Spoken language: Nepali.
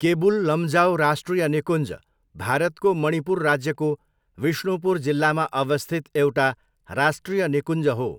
केबुल लम्जाओ राष्ट्रिय निकुञ्ज भारतको मणिपुर राज्यको विष्णुपुर जिल्लामा अवस्थित एउटा राष्ट्रिय निकुञ्ज हो।